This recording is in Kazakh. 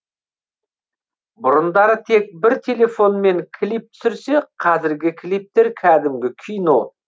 бұрындары тек бір телефонмен клип түсірсе қазіргі клиптер кәдімгі кино